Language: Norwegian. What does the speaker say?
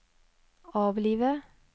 avlive